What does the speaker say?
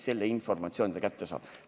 Selle informatsiooni saab ta kätte.